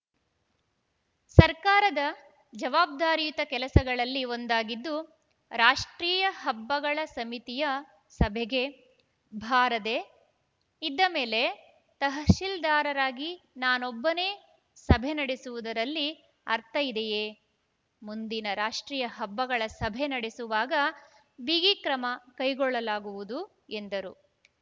ಸರ್ಕಾರದ ಜವಾಬ್ದಾರಿಯುತ ಕೆಲಸಗಳಲ್ಲಿ ಒಂದಾಗಿದ್ದು ರಾಷ್ಟ್ರೀಯ ಹಬ್ಬಗಳ ಸಮಿತಿಯ ಸಭೆಗೆ ಭಾರದೆ ಇದ್ದಮೇಲೆ ತಹಶೀಲ್ದಾರರಾಗಿ ನಾನೊಬ್ಬನೆ ಸಭೆ ನಡೆಸುವುದರಲ್ಲಿ ಅರ್ಥ ಇದೆಯೇ ಮುಂದಿನ ರಾಷ್ಟ್ರೀಯ ಹಬ್ಬಗಳ ಸಭೆ ನಡೆಸುವಾಗ ಬಿಗಿ ಕ್ರಮ ಕೈಗೊಳ್ಳಲಾಗುವುದು ಎಂದರು